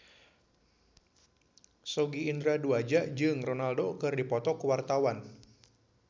Sogi Indra Duaja jeung Ronaldo keur dipoto ku wartawan